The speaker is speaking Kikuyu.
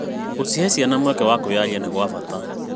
Gũcihe ciana mweke wa kwaria nĩ gwa bata.